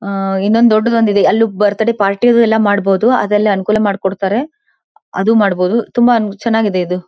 ಅಹ್ ಇನೊಂದು ದೊಡ್ದದ ಒಂದ ಇದೆ ಅಲ್ಲೂ ಬರ್ತ್ ಡೇ ಪಾರ್ಟಿ ಎಲ್ಲಾ ಮಾಡಬಹುದು ಅದೆಲ್ಲಾ ಅನುಕೂಲ ಮಾಡಿಕೊಡತಾರೆ ಅದೂ ಮಾಡಬಹುದು ತುಂಬಾ ಚನ್ನಾಗಿದೆ ಇದು.